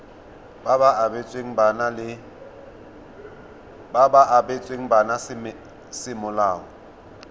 ba ba abetsweng bana semolao